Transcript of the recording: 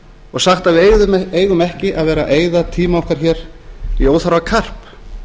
og sagt að við eigum ekki að vera að eyða tíma okkar hér í óþarfa karp